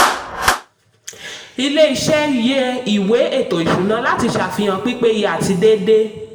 ilé iṣẹ́ yẹ ìwé ètò ìsúná láti ṣàfihàn pípéye àti déédéé.